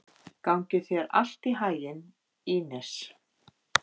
Gangi þér allt í haginn, Ínes.